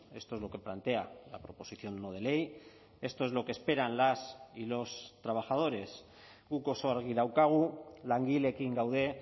esto es lo que plantea la proposición no de ley esto es lo que esperan las y los trabajadores guk oso argi daukagu langileekin gaude